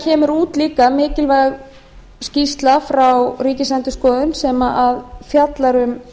kemur út líka mikilvæg skýrsla frá ríkisendurskoðun sem fjallar um